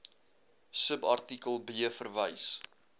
subartikel b verwys